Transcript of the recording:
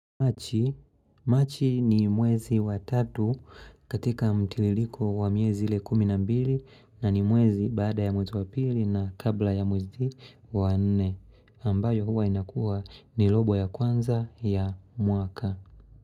Machi ni mwezi wa tatu katika mtililiko wa miyezi ile kuminambili na ni mwezi bada ya mwezi wa pili na kabla ya mwezi wa nne ambayo huwa inakua ni lobo ya kwanza ya mwaka.